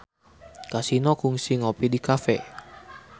Kasino kungsi ngopi di cafe